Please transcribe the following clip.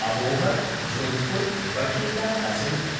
अबोहर्–जोधपुर्–बठिण्डा passenger